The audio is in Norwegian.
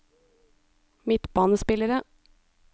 midtbanespillere